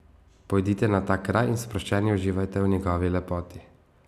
Pojdite na ta kraj in sproščeni uživajte v njegovi lepoti.